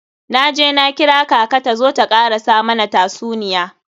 Na je na kira kaka ta zo ta karasa mana tasuniya.